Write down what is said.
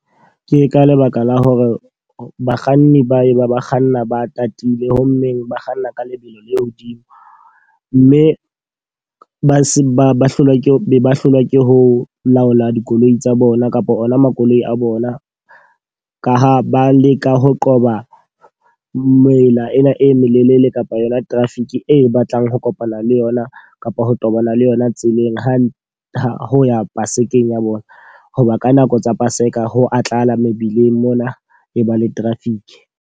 Ke ka lebaka la hore bakganni ba e ba ba kganna ba tatile, ho mmeng ba kganna ka lebelo le hodimo. Mme ba se ba ba hlolwa ke be ba hlolwa ke ho laola dikoloi tsa bona kapa ona makoloi a bona. Ka ha ba leka ho qoba mela ena e melelele kapa yona traffic e batlang ho kopana le yona kapa ho qobana le yona tseleng ha ho ya Pasekeng ya bona. Hoba ka nako tsa Paseka ho a tlala mebileng mona e ba le traffic.